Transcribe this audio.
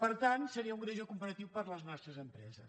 per tant seria un greuge comparatiu per a les nostres empreses